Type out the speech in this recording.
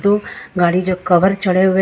गाड़ी जो कभर चढ़े हुए।